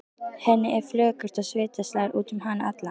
Henni er flökurt og svita slær út um hana alla.